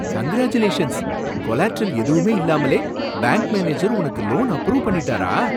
Congratulations! Collateral எதுவும் இல்லாமலே bank manager உனக்கு லோன் அப்ரூவ் பண்ணிட்டாரா?